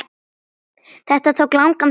Þetta tók langan tíma.